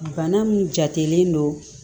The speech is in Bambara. Bana min jatelen don